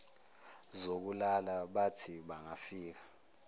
zokulala bathi bangafika